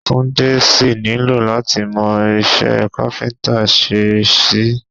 Túndé sì nílò láti mọ iṣẹ́ káfíńtà ṣe sí i